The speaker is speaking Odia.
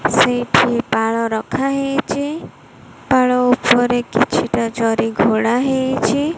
ସେଇଠି ପାଳ ରାଖାହେଇଚି ପାଳ ଉପରେ କିଛିଟା ଜରି ଘୋଡ଼ା ହେଇଚି।